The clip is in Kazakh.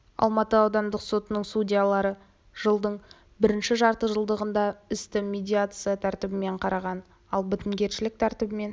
алматы аудандық сотының судьялары жылдың бірінші жарты жылдығында істі медиация тәртібімен қараған ал бітімгершілік тәртібімен